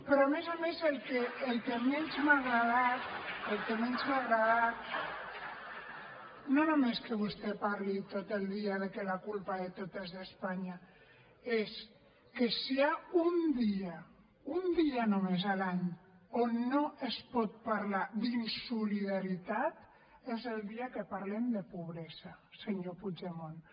però a més a més el que menys m’ha agradat el que menys m’ha agradat no només que vostè parli tot el dia de que la culpa de tot és d’espanya és que si hi ha un dia un dia només l’any on no es pot parlar d’insolidaritat és el dia que parlem de pobresa senyor puigdemont